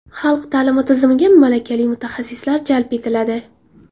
Xalq ta’limi tizimiga malakali mutaxassislar jalb etiladi.